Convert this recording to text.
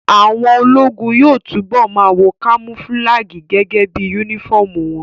Àwọn ológun yóò túbọ̀ ma wọ kamofúlágì gẹ́gẹ́ bí yúnífọ̀mù wọn